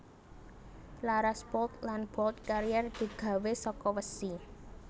Laras bolt lan bolt carriere digawe saka wesi